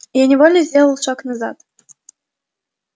я невольно сделал шаг назад